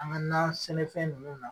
An ka nan sɛnɛfɛn nunnu na